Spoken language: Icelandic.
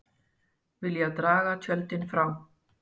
Vilja draga tjöldin frá